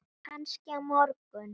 Kannski á morgun.